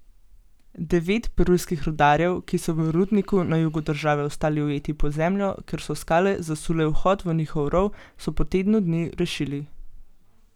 Devet perujskih rudarjev, ki so v rudniku na jugu države ostali ujeti pod zemljo, ker so skale zasule vhod v njihov rov, so po tedni dnu rešili.